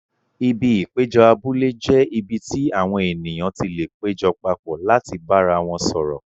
Ibi ìpéjọ abúlé jẹ́ ibi tí àwọn ènìyàn ti lè péjọ papọ̀ láti bára wọn sọ̀rọ̀.